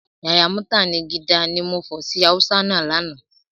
Yàyà mútànigídá, ni mo fọ̀ sí Hausa náà lánàá